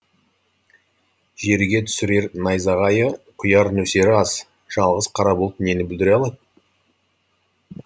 жерге түсірер найзағайы құяр нөсері аз жалғыз қара бұлт нені бүлдіре алады